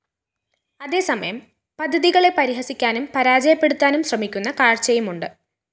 അതേസമയം പദ്ധതികളെ പരിഹസിക്കാനും പരാജയപ്പെടുത്താനും ശ്രമിക്കുന്ന കാഴ്ചയുമുണ്ട്